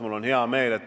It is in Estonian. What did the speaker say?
Mul on hea meel.